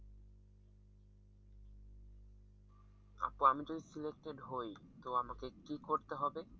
আপু আমি যদি selected হয় তো আমাকে কি করতে হবে?